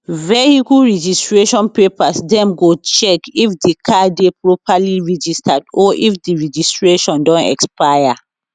vehicle registration papers dem go check if di car dey properly registered or if di registration don expire